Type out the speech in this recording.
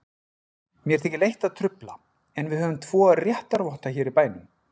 Mér þykir leitt að trufla, en við höfum tvo réttarvotta hér í bænum.